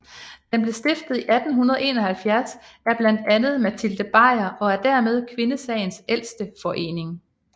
Den blev stiftet i 1871 af blandt andet Matilde Bajer og er dermed kvindesagens ældste forening